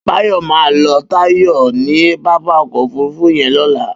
Bayo mà lọ Tayo ni pápá ọkọ ófùrùfù yèn lọlà